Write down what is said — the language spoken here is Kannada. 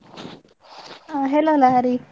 ಆ hello ಲಹರಿ.